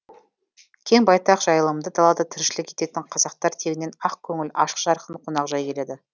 кең байтақ жайылымды далада тіршілік ететін қазақтар тегінен ақ көңіл ашық жарқын қонақжай келеді